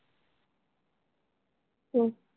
हम्म